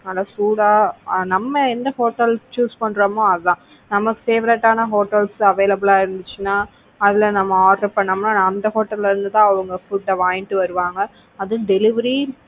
நல்லா சூடா நம்ம என்ன ஹோட்டல் choose பண்றோமோ அதான் நம்ம favorite ஆனா hotels ல available ஆ இருந்துச்சுன்னா, அதுல நம்ம order பண்ண அந்த hotel ல இருந்து தான் அவங்க food வாங்கிட்டு வருவாங்க. அதுவும் delivery